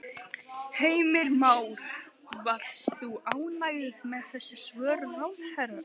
Heimir Már: Varst þú ánægð með þessi svör ráðherrans?